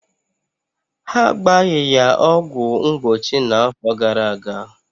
Ha agbaghi ya ọgwụ mgbochi na-afọ gara-aga.